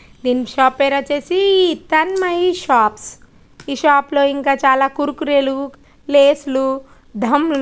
ఈ షాప్ పేరు వచ్చేసి తన్మయి షాప్స్ ఈ షాప్ లో ఇంకా చాల కురుకురే లు లేస్ లు ధం లు--